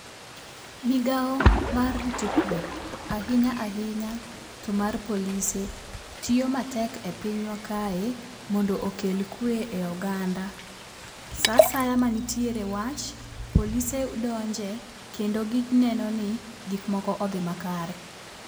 Migawo mar rito kwe ahinya ahinya to mar polise tiyo matek e pinywa kae mondo oket kwe e oganda. Saa asaya mantiere wach to polise donjo kendo gineno ni gik moko odhi makare.